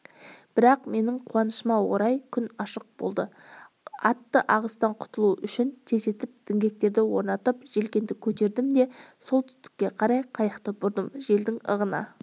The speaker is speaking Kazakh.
бірақ менің қуанышыма орай күн ашық болды атты ағыстан құтылу үшін тездетіп діңгектерді орнатып желкенді көтердім де солтүстікке қарай қайықты бұрдым желдің ығына